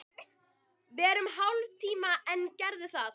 Verum í hálftíma enn, gerðu það.